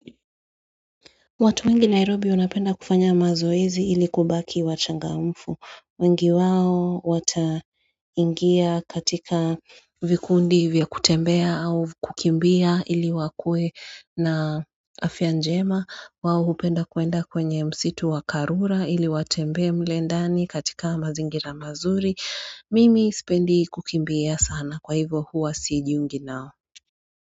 Watu wengi Nairobi wanapenda kufanya mazoezi ili kubaki wachangamfu, wengi wao wata ingia katika vikundi vya kutembea au kukimbia ili wakue na afya njema wao upenda kuenda kwenye msitu wa karura ili watembe mle ndani katika mazingira mazuri, mimi sipendi kukimbia sana kwa hivyo huwa sijiungi nao.